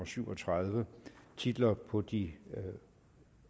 syv og tredive titler på de